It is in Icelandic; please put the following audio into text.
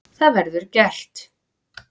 Það verður gert.